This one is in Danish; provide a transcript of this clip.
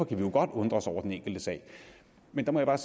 vi jo godt undre os over den enkelte sag men der må jeg